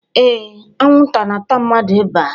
Ee, anwụnta na-ata mmadụ ebea.